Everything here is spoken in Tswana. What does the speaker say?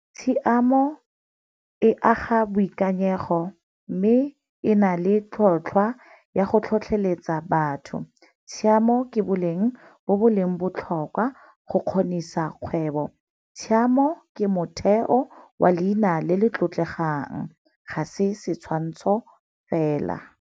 Tshiamo e aga boikanyego mme e na le tlhotlhwa ya go tlhotlheletsa batho. Tshiamo ke boleng bo bo leng botlhokwa go kgonisa kgwebo. Tshiamo ke motheo wa leina le le tlotlegwang, ga se setshwantsho fela.